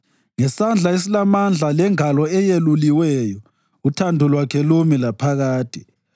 Ngesandla esilamandla lengalo eyeluliweyo, uthando lwakhe lumi laphakade.